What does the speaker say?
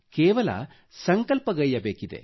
ಕೇವಲ ಸಂಕಲ್ಪಗೈಯ್ಯಬೇಕಿದೆ